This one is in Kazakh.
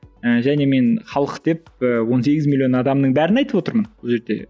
і және мен халық деп і он сегіз миллион адамның бәрін айтып отырмын бұл жерде